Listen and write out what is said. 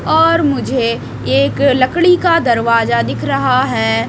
और मुझे एक लकड़ी का दरवाजा दिख रहा है।